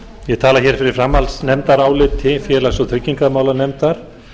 ég tala hér fyrir framhaldsnefndaráliti félags og tryggingamálanefndar